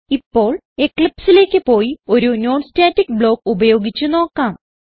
ഇപ്പോൾ Eclipseലേക്ക് പോയി ഒരു non സ്റ്റാറ്റിക് ബ്ലോക്ക് ഉപയോഗിച്ച് നോക്കാം